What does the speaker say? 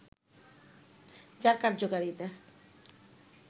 যার কার্যকারিতা